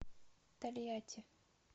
тольятти